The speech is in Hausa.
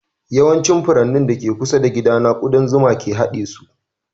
Yawancin furannin da ke kusa da gidana ƙudan zuma ne ke haɗe su